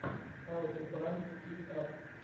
хау ту пранк кит ап